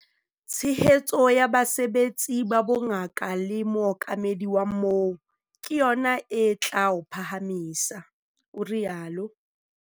"Tshehetso ya basebetsi ba bongaka le mookamedi wa moo - ke yona e tla o phahamisa," o rialo.